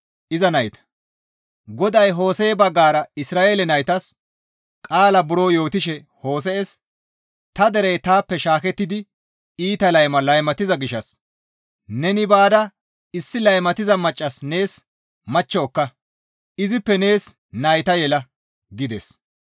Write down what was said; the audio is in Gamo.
GODAY Hose7e baggara Isra7eele naytas qaala buro yootishe Hose7es, «Ta derey taappe shaakettidi iita layma laymatiza gishshas neni baada issi laymatiza maccas nees machcho ekka; izippe nees nayta yela» gides.